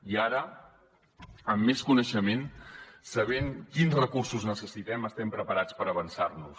i ara amb més coneixement sabent quins recursos necessitem estem preparats per avançar nos